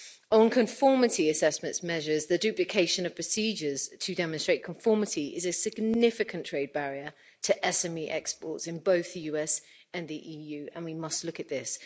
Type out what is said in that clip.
On conformity assessments measures, the duplication of procedures to demonstrate conformity is a significant trade barrier to SME exports in both the US and the EU, and we must look at this.